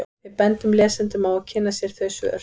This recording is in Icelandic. Við bendum lesendum á að kynna sér þau svör.